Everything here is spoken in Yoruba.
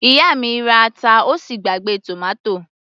Ìyá mi ra ata ó sì gbàgbé tòmátò